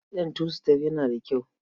Kitson tu-sitef yana da kyau.